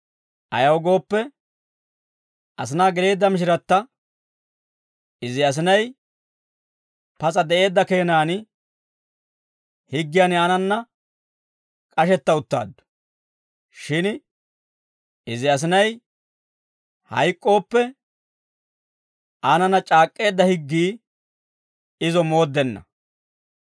Ayaw gooppe, asinaa geleedda mishiratta izi asinay pas'a de'eedda keenan, higgiyan aanana k'ashetta uttaaddu; shin izi asinay hayk'k'ooppe, aanana c'aak'k'eedda higgii izo mooddenna.